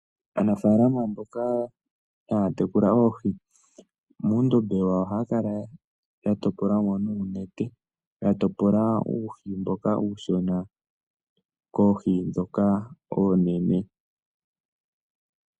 Aanafaalama mboka haya tekula oohi, muundombe wawo ohaya kala ya topola mo nuunete, ya topola uuhi mboka uushona koohi ndhoka oonene.